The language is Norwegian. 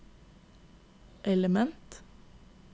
element